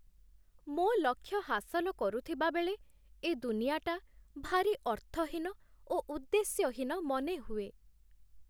ମୋ ଲକ୍ଷ୍ୟ ହାସଲ କରୁଥିବାବେଳେ, ଏ ଦୁନିଆଟା ଭାରି ଅର୍ଥହୀନ ଓ ଉଦ୍ଦେଶ୍ୟହୀନ ମନେହୁଏ।